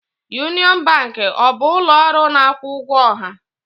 Union Bank ọ bụ ụlọ ọrụ na-akwụ ụgwọ ọha?